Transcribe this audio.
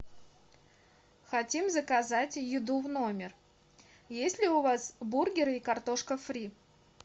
хотим заказать еду в номер есть ли у вас бургеры и картошка фри